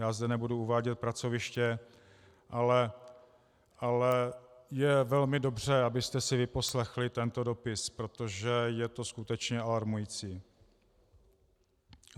Já zde nebudu uvádět pracoviště, ale je velmi dobře, abyste si vyposlechli tento dopis, protože je to skutečně alarmující.